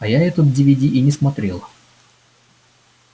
а я этот дивиди и не смотрела